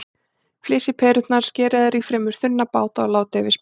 Flysjið perurnar, skerið þær í fremur þunna báta og látið yfir spínatið.